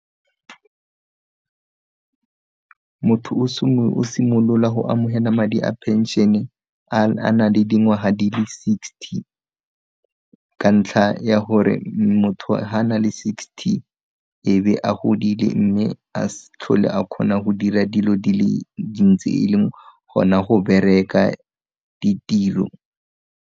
Motho o simolola go amogela madi a phenšene a na le dingwaga di le sixty, ka ntlha ya gore motho ga na le sixty ebe a godile mme a s'tlhole a kgona go dira dilo di le dintsi e leng gona go bereka ditiro.